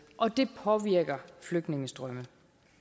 og det påvirker flygtningestrømmene